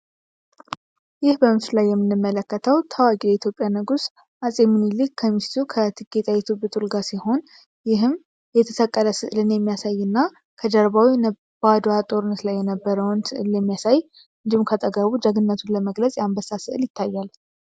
ይህ በምስል ላይ የሚንመለከተው ታዋቂ ኢትዮጵያ ንጉስ አፄ ሚኒሊክ ከሚስቱ ከቲጌ ጥዐይቱ ጡልጋ ሲሆን ይህም የተሰቀረስዕልኔ የሚያሳይ እና ከጀርባዊ ነባዶአጦርነስ ላይ የነበረውንሚያሳይ እንጂም ከጠጋቡ ጀግነቱን ለመግለጽ የአንበሳስዕል ይታያል።